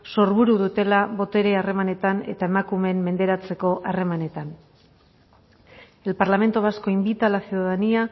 sorburu dutela botere harremanetan eta emakumeen menderatzeko harremanetan el parlamento vasco invita a la ciudadanía